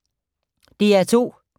DR2